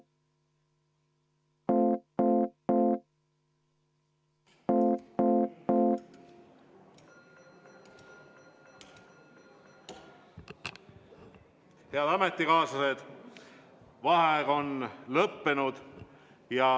Head ametikaaslased, vaheaeg on lõppenud.